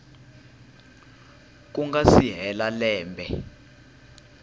ku nga si hela lembe